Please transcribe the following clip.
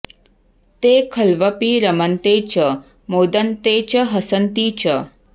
ते खल्वपि रमन्ते च मोदन्ते च हसन्ति च